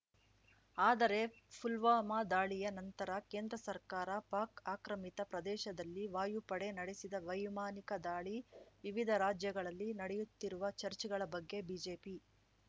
ಆದರೆ ಪುಲ್ವಾಮಾ ದಾಳಿಯ ನಂತರ ಕೇಂದ್ರಸರ್ಕಾರ ಪಾಕ್ ಆಕ್ರಮಿತ ಪ್ರದೇಶದಲ್ಲಿ ವಾಯುಪಡೆ ನಡೆಸಿದ ವೈಮಾನಿಕ ದಾಳಿ ವಿವಿಧ ರಾಜ್ಯಗಳಲ್ಲಿ ನಡೆಯುತ್ತಿರುವ ಚರ್ಚೆಗಳ ಬಗ್ಗೆ ಬಿಜೆಪಿ